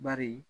Bari